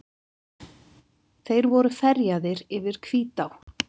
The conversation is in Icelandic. Þeir voru ferjaðir yfir Hvítá.